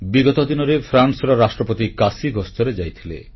ବିଗତ ଦିନରେ ଫ୍ରାନ୍ସର ରାଷ୍ଟ୍ରପତି କାଶୀ ଗସ୍ତରେ ଯାଇଥିଲେ